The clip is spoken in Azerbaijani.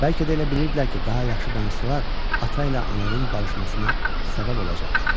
Bəlkə də elə bilirdilər ki, daha yaxşı danışsalar, ata ilə ananın barışmasına səbəb olacaqlar.